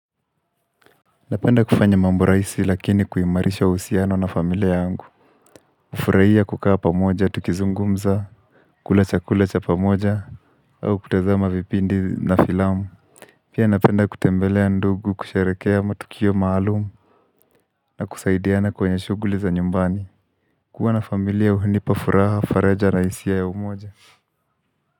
Napenda kufanya mambo rahisi lakini kuimarisha uhusiano na familia yangu nafurahia kukaa pamoja tukizungumza kula chakula cha pamoja au kutazama vipindi na filamu Pia napenda kutembelea ndugu kusherehekea matukio maalum na kusaidiana kwenye shuguli za nyumbani kuwa na familia hunipa furaha faraja na hisia ya umoja.